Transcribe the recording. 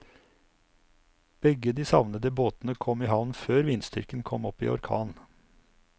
Begge de savnede båtene kom i havn før vindstyrken kom opp i orkan.